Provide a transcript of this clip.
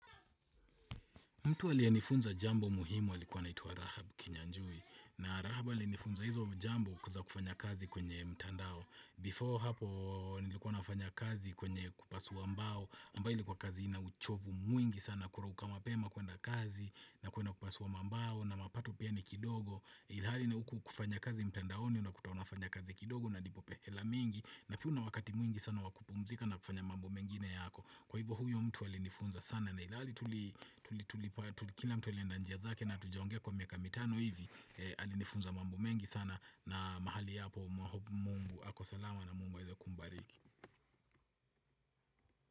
Mtu aliyenifunza jambo muhimu alikuwa anaitwa Rahab Kinyanjui. Na Rahab alinifunza hizo jambo kuweza kufanya kazi kwenye mtandao. Before hapo nilikuwa nafanya kazi kwenye kupasua mbao. Ambayo ilikuwa kazi ina uchovu mwingi sana kurauka mapema kwenda kazi na kwenda kupasua mbao na mapato pia ni kidogo. Ilhali na uku kufanya kazi mtandaoni unakuta unafanya kazi kidogo na unalipwa hela mingi. Na pia na wakati mwingi sana wa kupumzika na kufanya mambo mengine yako. Kwa hivyo huyo mtu alinifunza sana na ilali tuli tulipo Kila mtu alienda njia zake na hatujaongea kwa miaka mitano hivi Alinifunza mambo mengi sana na mahali hapo Mungu ako salama na mungu aweze kumbariki.